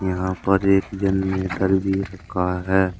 यहां पर एक जनरेटर भी रखा है।